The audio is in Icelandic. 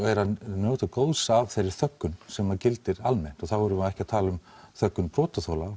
njóta góðs af þeirri þöggun sem að gildir almennt og þá erum við ekki að tala um þöggun brotaþola